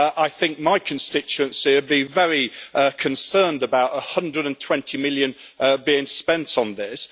I think my constituency will be very concerned about EUR 120 million being spent on this.